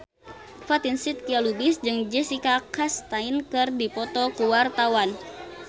Fatin Shidqia Lubis jeung Jessica Chastain keur dipoto ku wartawan